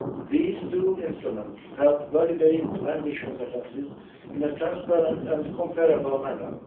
These two instruments help validate language competences in a transparent and comparable manner.